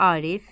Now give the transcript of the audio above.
Arif.